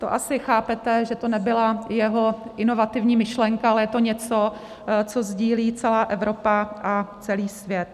To asi chápete, že to nebyla jeho inovativní myšlenka, ale je to něco, co sdílí celá Evropa a celý svět.